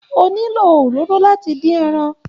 O nílò òróró láti dín ẹran.